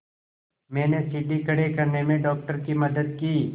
मैंने सीढ़ी खड़े करने में डॉक्टर की मदद की